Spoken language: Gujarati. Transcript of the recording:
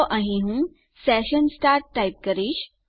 તો અહીં હું સેશન સ્ટાર્ટ ટાઇપ કરીશ